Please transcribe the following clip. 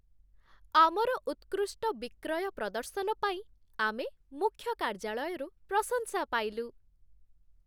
ଆମର ଉତ୍କୃଷ୍ଟ ବିକ୍ରୟ ପ୍ରଦର୍ଶନ ପାଇଁ ଆମେ ମୁଖ୍ୟ କାର୍ଯ୍ୟାଳୟରୁ ପ୍ରଶଂସା ପାଇଲୁ।